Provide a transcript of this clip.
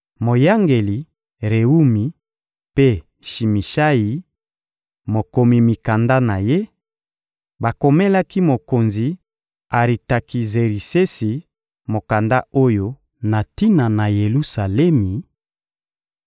Moyangeli Rewumi mpe Shimishayi, mokomi mikanda na ye, bakomelaki mokonzi Aritakizerisesi mokanda oyo na tina na Yelusalemi: